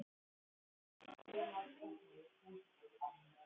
En það voru augun sem mest höfðu breyst.